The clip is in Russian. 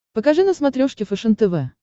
покажи на смотрешке фэшен тв